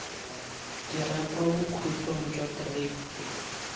dira kwa bokhutlong jwa kereiti